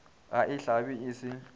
ga e hlabe e se